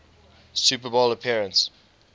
super bowl appearance